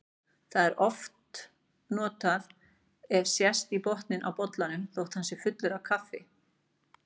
Það er notað ef sést í botninn á bollanum þótt hann sé fullur af kaffi.